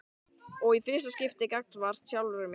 Og í fyrsta skipti gagnvart sjálfri sér.